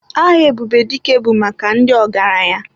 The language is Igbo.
Aha Ebubedike bụ maka ndị ọgaranya.